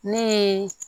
Ne ye